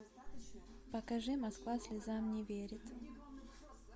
покажи москва слезам не верит